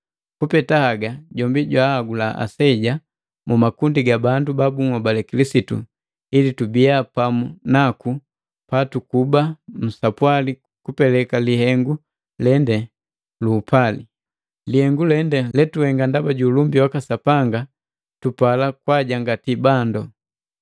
Kupeta haga, jombi jwahagula aseja mu makundi ga bandu ba bunhobale Kilisitu ili tubiya pamu naku patukuba nsapwali kupeleka lihengu lende lu upali. Lihengu lende letuhenga ndaba juulumbi waka Sapanga tupala kwajangati bandu.